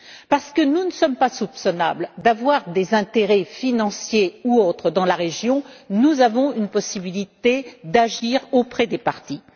Parce que nous ne sommes pas soupçonnables d'avoir des intérêts financiers ou autres dans la région, nous avons une possibilité d'agir auprès des parties.